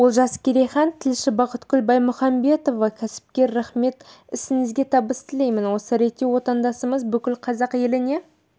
олжас керейхан тілші бақытгүл баймұханбетова кәсіпкер рахмет ісіңізге табыс тілеймін осы ретте отандасымыз бүкіл қазақ еліне